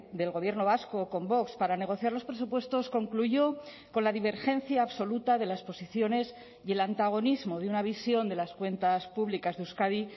del gobierno vasco con vox para negociar los presupuestos concluyó con la divergencia absoluta de las posiciones y el antagonismo de una visión de las cuentas públicas de euskadi